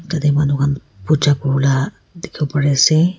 tade manu han puja kuriwoleh aha dikhiwo pari asey.